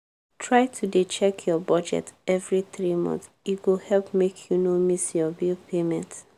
try to dey check your budget every three month e go help make you no miss your bill payment.